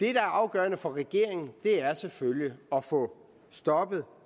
er afgørende for regeringen er selvfølgelig at få stoppet